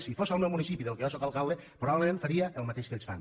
si fos el meu municipi del qual jo sóc alcalde probablement faria el mateix que ells fan